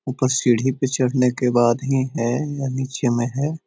ऊपर सीढ़ी पे चढ़ने के बाद ही है या नीचे में है।